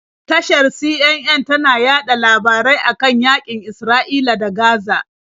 Tashar CNN tana yaɗa labarai a kan yaƙin Isra'ila da Gaza.